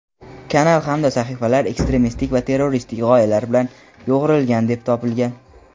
kanal hamda sahifalar ekstremistik va terroristik g‘oyalar bilan yo‘g‘rilgan deb topilgan.